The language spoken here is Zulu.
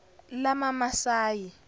lamamasayi